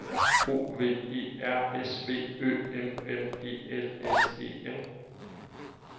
O V E R S V Ø M M E L S E N